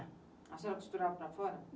A senhora costurava para fora?